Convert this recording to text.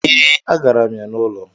Ee, agara m ya n'ụlọ